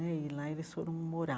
Né e lá eles foram morar.